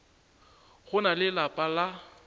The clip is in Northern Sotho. go na le lapa la